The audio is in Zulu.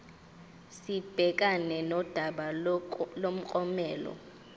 sibhekane nodaba lomklomelo